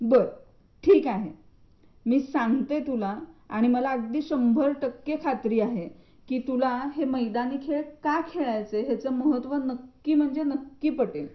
बर ठीक आहे. मी सांगते तुला आणि मला शंभर टक्के खात्री आहे कि तुला हे मैदानी खेळ का खेळायचे त्याचे महत्त्व नक्की म्हणजे नक्की पटेल.